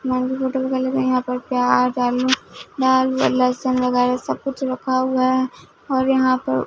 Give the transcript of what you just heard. मंडी hotel के लोग हैं यहाँ पर प्याज आलू प्याज बाल व लहसुन वगैरा सबकुछ रखा हुआ है और यहाँ पर--